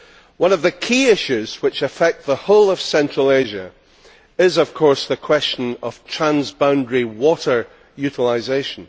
One of the key issues which affects the whole of Central Asia is of course the question of transboundary water utilisation.